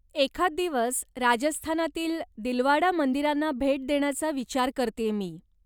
एखाद दिवस राजस्थानातील दिलवाडा मंदिरांना भेट देण्याचा विचार करतेय मी.